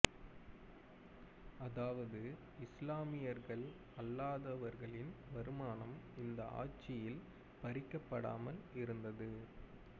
அதாவது இஸ்லாமியர்கள் அல்லாதவர்களின் வருமானம் இந்த ஆட்சியில் பறிக்கப்படாமல் இருந்தது